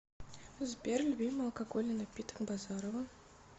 сбер любимый алкогольный напиток базарова